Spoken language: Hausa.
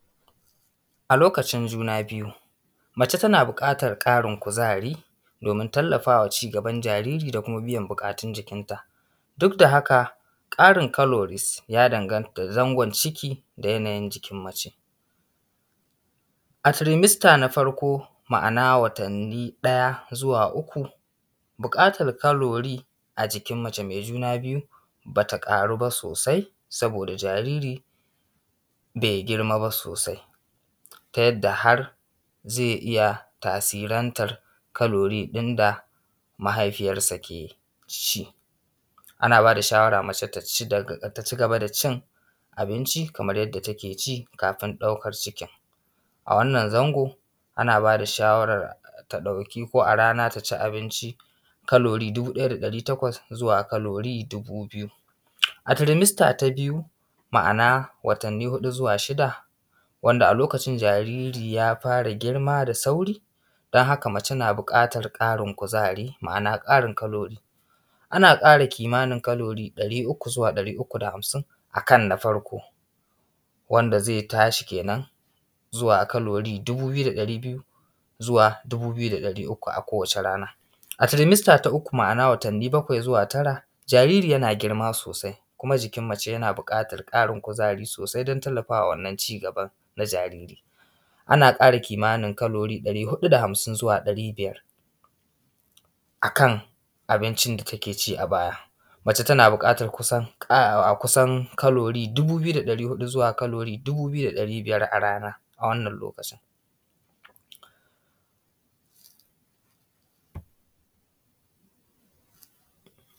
a lokacin juna-biyu mace tana buƙatar ƙarin kuzari domin tallafawa cigaban jariri da kuma biyan buƙatun jikinta duk da haka ƙarin calories ya danganta da zangon ciki da yanayin jikin mace a trimester na farko ma’ana watanni ɗaya zuwa uku buƙatar calorie a jikin mace mai juna biyu bata ƙaru ba sosai sabida jariri bai girma ba sosai ta yadda har zai iya tasirantar calorie ɗin da mahaifiyarsa ke ci ana bada shawara mace ta cigaba da cin abinci kaman yanda ta ke ci kafin ɗaukar cikin a wannan zangon ana bada shawarar ta ɗauki ko a rana ta ci abinci dubu ɗaya da ɗari takwas zuwa calorie dubu biyu a trimester ta biyu ma’ana watanni huɗu zuwa shida wanda a lokacin jariri ya fara girma da sauri don haka mace na buƙatar ƙarin kuzari ma’ana ƙarin calories ana ƙara kimanin calories ɗari uku zuwa ɗari uku da hamsin akan na farko wanda zai tashi kenan zuwa calories dubu biyu da ɗari biyu zuwa da ɗari uku akan kowace rana a trimester ta uku ma’ana watanni bakwai zuwa tara jariri yana girma sosai kuma jikin mace yana buƙatar ƙarin kuzari sosai sai don tallafawa wannan cigaban na jariri ana ƙara kimanin calories ɗari huɗu da hamsin zuwa ɗari biyar akan abincin da ta ke ci a baya mace tana buƙatar kusan calories dubu biyu da ɗari huɗu zuwa calories dubu biyu da ɗari biyar a rana a wannan lokacin